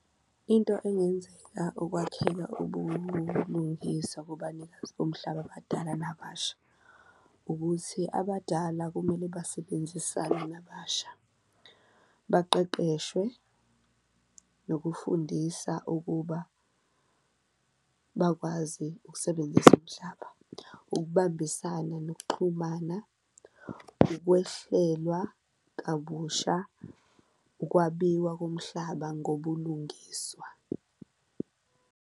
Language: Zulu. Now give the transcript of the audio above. Into engenzeka ukwakheka ubulungiswa kubanikazi bomhlaba abadala nababasha ukuthi abadala kumele basebenzisane nababasha, baqeqeshwe nokufundisa ukuba bakwazi ukusebenzisa umhlaba, ukubambisana nokuxhumana, ukwehlelwa kabusha, ukwabiwa komhlaba ngobulungiswa.